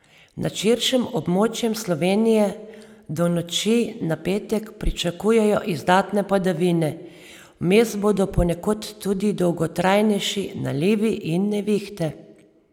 Nad širšim območjem Slovenije do noči na petek pričakujejo izdatne padavine, vmes bodo ponekod tudi dolgotrajneši nalivi in nevihte.